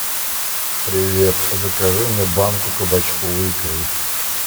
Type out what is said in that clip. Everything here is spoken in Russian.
привет закажи мне банку кабачковой икры